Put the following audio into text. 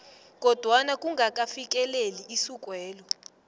kodwana kungakafikeleli isukwelo